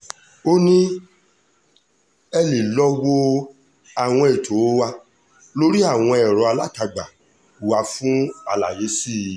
ó ní ẹ lè lọ́ọ́ wo àwọn ètò wa lórí àwọn ẹ̀rọ alátagbà wa fún àlàyé sí i